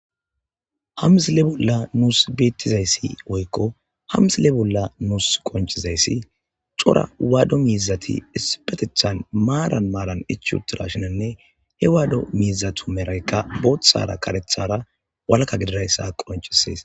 ha misile bolla nuus beettizayssi woykko hamzile bolla nuus qonchizayssi cora waado miizati isipetethan maaran maaran ichiutira shinanne he waado miizathomeraykka booththara karethara walka gidirayssa qoncisees